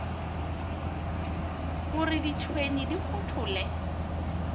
o re ditšhwene di kgothole